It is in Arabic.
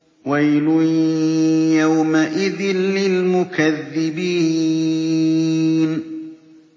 وَيْلٌ يَوْمَئِذٍ لِّلْمُكَذِّبِينَ